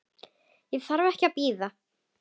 Ég þarf ekki að bíða.